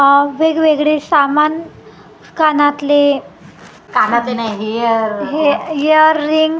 वेगवेगळे सामान कानातले हे इयर रिंग --